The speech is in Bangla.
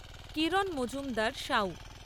কিরণ মজুমদার সাউ